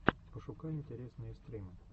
пошукай интересные стримы